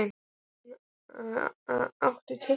Þórgunna, áttu tyggjó?